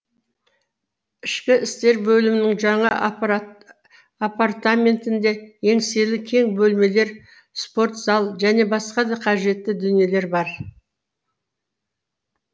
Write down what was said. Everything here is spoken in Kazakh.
ішкі істер бөлімінің жаңа апартаментінде еңселі кең бөлмелер спортзал және басқа да қажетті дүниелер бар